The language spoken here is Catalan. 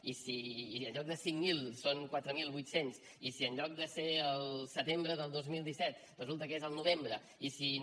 i si en lloc de cinc mil són quatre mil vuit cents i si en lloc de ser el setembre del dos mil disset resulta que és al novembre i si no